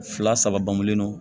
Fila saba bangulen don